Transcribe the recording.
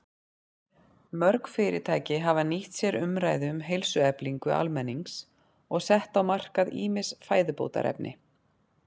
Mörg fyrirtæki hafa nýtt sér umræðu um heilsueflingu almennings og sett á markað ýmis fæðubótarefni.